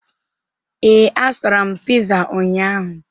Ee, azụtara m pịza ụnyaahụ.